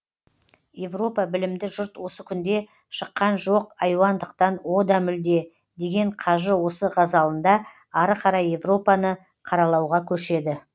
европа білімді жұрт осы күнде шыққан жоқ айуандықтан о да мүлде деген қажы осы ғазалында ары қарай европаны қаралауға көшеді